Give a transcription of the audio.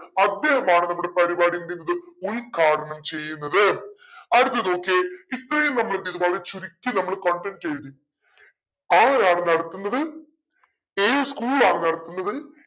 അദ്ദേഹമാണ് നമ്മുടെ പരിപാടി എന്തെയുന്നത് ഉദ്ഘാടനം ചെയ്യുന്നത് അടുത്തത് നോക്കിയേ ഇത്രയും നമ്മളെന്തേയ്‌തു വളരെ ചുരുക്കി നമ്മൾ content എഴുതി ആരാണ് നടത്തുന്നത് ഏത് school ആണ് നടത്തുന്നത്